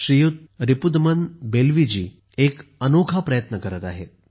श्रीयुत रीपुदमन बेल्वीजी एक अनोखा प्रयत्न करत आहेत